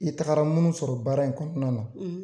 I tagara minnu sɔrɔ baara in kɔnɔna na, .